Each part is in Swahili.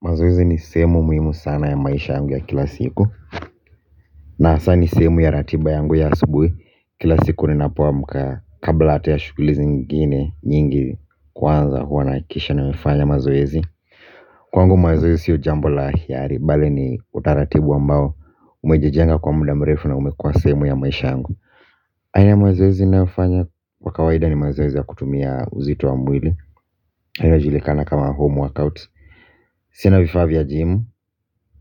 Mazoezi ni sehemu muhimu sana ya maisha yangu ya kila siku na hasa ni sehemu ya ratiba yangu ya asubuhi kila siku ni napo amka kabla hata ya shughuli zingine nyingi kwanza huwa nahakikisha nimefanya mazoezi kwangu mazoezi sio jambo la hiari bali ni utaratibu ambao umejijenga kwa muda mrefu na umekuwa sehemu ya maisha yangu aina ya mazoezi ninayo fanya kwa kawaida ni mazoezi ya kutumia uzito wa mwili inajulikana kama home workouts. Sina vifaa vya jimu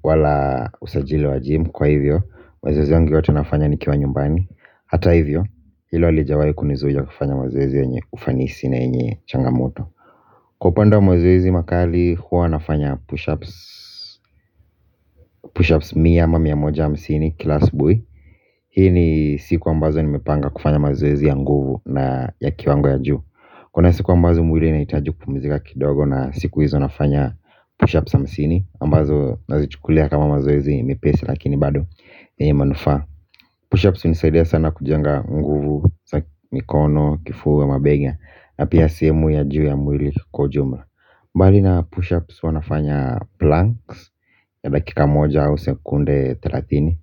wala usajili wa gym kwa hivyo mazoezi yangu yote nafanya nikiwa nyumbani. Hata hivyo hilo halijawahi kunizuia kufanya mazoezi yenye ufanisi na yenye changamoto. Kwa upanda wa mazoezi makali huwa nafanya pushups. Pushups mia ama mia moja hamsini kila asubuhi. Hii ni siku ambazo nimepanga kufanya mazoezi ya nguvu na ya kiwango ya juu. Kuna siku ambazo mwili inahitaji kupumzika kidogo na siku hizo nafanya pushups hamsini ambazo nazichukulia kama mazoezi mepesi lakini bado ni manufaa. Pushups hunisaidia sana kujenga nguvu, mikono, kifua, mabega na pia sehemu ya juu ya mwili kwa ujumla bali na pushups huwanafanya planks ya dakika moja au sekunde thelathini.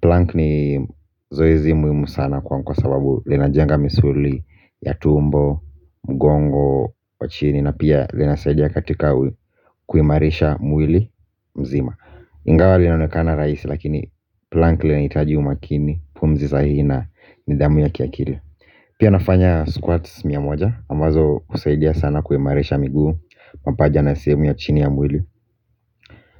Plank ni zoezi muhimu sana kwangu kwa sababu linajenga misuli ya tumbo, mgongo, wa chini. Na pia linasaidia katika kuimarisha mwili mzima. Ingawa linaonekana rahisi lakini plank linahitaji umakini. Pumzi sahihi na nidhamu ya kiakili. Pia nafanya squats miamoja ambazo husaidia sana kuimarisha miguu. Mapaja na sehemu ya chini ya mwili.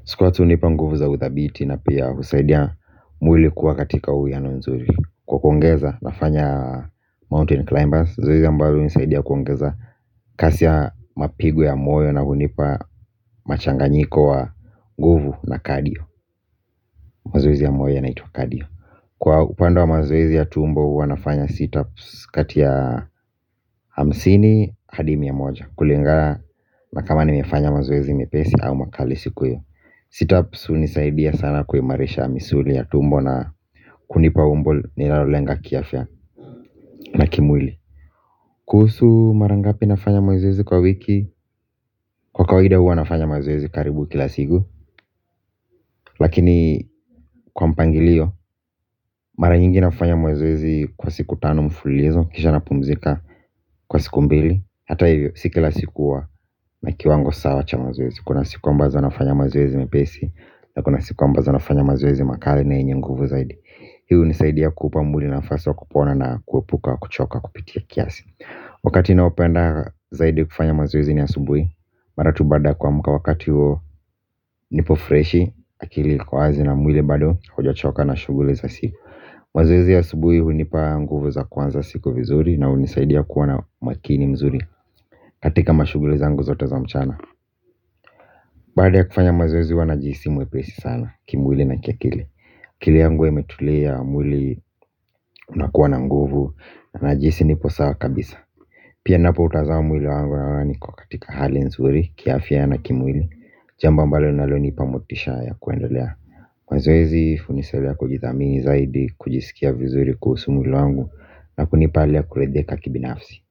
Squats hunipa nguvu za uthabiti. Na pia husaidia mwili kuwa katika uwiano nzuri. Kwa kuongeza nafanya mountain climbers zoezi ambalo hunisaidia kuongeza kasi ya mapigo ya moyo na kunipa machanganyiko wa guvu na kadio. Mazoezi ya moyo ya naitwa kadio. Kwa upande wa mazoezi ya tumbo huwanafanya situps kati ya hamsini hadi mia moja. Kulingana na kama nimefanya mazoezi mepesi au makali siku hiyo. Situps hunisaidia sana kuimarisha misuli ya tumbo na kunipa umbo nilalo lenga kiafya na kimwili. Kuhusu marangapi nafanya mazoezi kwa wiki. Kwa kawaida huwa nafanya mazoezi karibu kila siku. Lakini kwa mpangilio mara nyingi nafanya mazoezi kwa siku tano mfululizo. Kisha na pumzika kwa siku mbili. Hata hivyo sikila siku huwa na kiwango sawa cha mazoezi. Kuna siku ambazo nafanya mazoezi mepesi. Na kuna siku ambazo nafanya mazoezi makali na yenye nguvu zaidi. Hii hunisaidia kuupa mwili nafasi wa kupona na kuepuka kuchoka kupitia kiasi. Wakati naopenda zaidi kufanya mazoezi ni asubuhi. Maratu baada ya kuamka wakati nipo freshi. Akili inakuwa wazi na mwili bado hujachoka na shughuli za siku. Maoezi ya asubuhi hunipa nguvu za kuanza siku vizuri. Na hunisaidia kuwa na makini mzuri. Katika mashughuli zangu zote za mchana. Baada ya kufanya maoezi huwa najihisi mwepesi sana. Kimwili na kiakili akili yangu huwa imetulia mwili unakuwa na nguvu. Na jinsi nipo sawa kabisa. Pia ninapo utazama mwili wangu naona niko katika hali nzuri kiafya na kimwili. Jambo ambalo linalo nipa motisha ya kuendelea. Kwani zoezi, hunisaidia kujithamini zaidi, kujisikia vizuri kuhusu mwili wangu na kunipa kuridhika kibinafsi.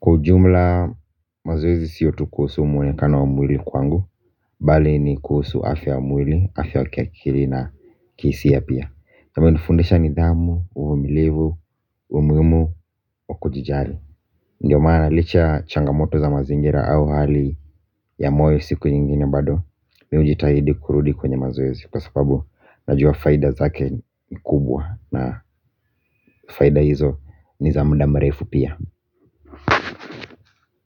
Kwa ujumla, mazoezi sio tu kuhusu mwonekano wa mwili kwangu. Bali ni kuhusu afya ya mwili, afya kiakili na kihisia pia. Kumenifundisha nidhamu, uvumilivu, umuhimu, wakujijali. Ndiyo maana licha changamoto za mazingira au hali ya moyo siku nyingine bado mimi hujitahidi kurudi kwenye mazoezi. Kwa sababu najua faida zake ni kubwa. Na faida hizo ni za muda mrefu pia.